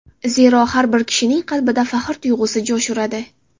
Zero, har bir kishining qalbida faxr tuyg‘usi jo‘sh uradi.